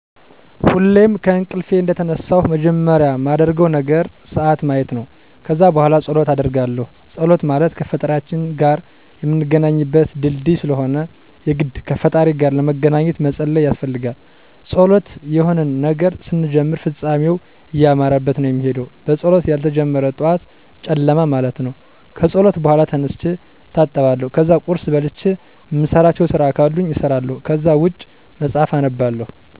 ሁሌም ከእንቅልፌ እንደተነሳሁ መጀመሪያ ማደርገው ነገር ስዓት ማየት ነው። ከዛ በኋላ ፀሎት አደርጋለሁ ፀሎት ማለት ከፈጣሪያችን ጋር ምንገናኝበት ድልድይ ስለሆነ የግድ ከፈጣሪ ጋር ለመገናኜት መፀለይ ያስፈልጋል። በፀሎት የሆነን ነገር ስንጀምር ፍፃሜው እያማረበት ነው ሚሄደው በፀሎት ያልተጀመረ ጠዋት ጨለማ ማለት ነው። ከፀሎት በኋላ ተነስቼ እታጠባለሁ ከዛ ቁርስ በልቼ እምሰራቸው ስራ ካሉኝ እሰራለሁ ከዛ ውጭ መፅሐፍ አነባለሁ።